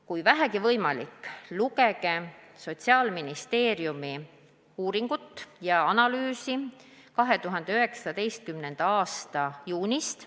Kui vähegi võimalik, lugege Sotsiaalministeeriumi uuringut ja analüüsi 2019. aasta juunist.